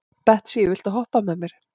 Betsý, viltu hoppa með mér?